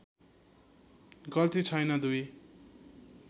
गल्ती छैन दुई